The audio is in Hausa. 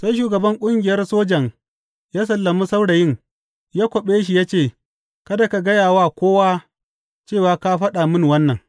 Sai shugaban ƙungiyar sojan ya sallami saurayin ya kwaɓe shi ya ce, Kada ka gaya wa kowa cewa ka faɗa mini wannan.